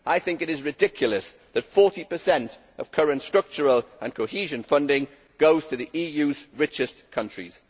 It is ridiculous that 40 per cent of current structural and cohesion funding goes to the EU's richest countries.